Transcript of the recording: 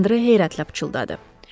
Andre heyrətlə pıçıldadı.